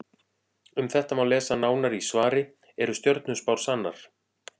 Um þetta má lesa nánar í svari Eru stjörnuspár sannar?